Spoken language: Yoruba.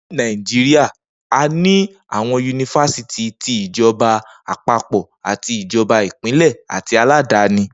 Ni Naijiria, a ní àwọn yunifásítì ti ìjọba àpapọ̀, tí ìjọba Ìpínlẹ̀ àti aládàáni